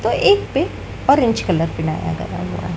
और एक पे ऑरेंज कलर मिलाया गया हुआ--